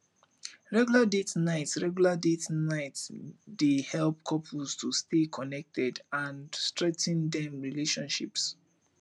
regular date nights regular date nights dey help couples to stay connected and strengthen dem relationships